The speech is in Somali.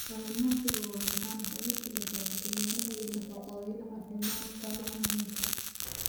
Cananaaska waa macaan, waxay ku kordhisaa fiitamiinno iyo nafaqooyin caafimaadka macaamiisha.